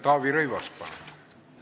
Taavi Rõivas, palun!